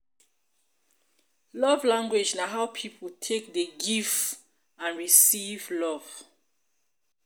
love language na how pipo take dey give and receive love